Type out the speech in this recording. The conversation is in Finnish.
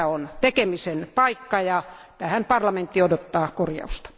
Tässä on tekemisen paikka, ja tähän parlamentti odottaa korjausta.